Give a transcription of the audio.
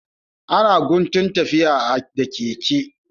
Ana guntun tafiya da keke.